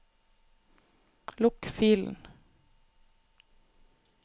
lukk filen